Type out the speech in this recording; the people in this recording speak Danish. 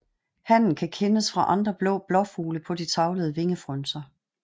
Hannen kan kendes fra andre blå blåfugle på de tavlede vingefrynser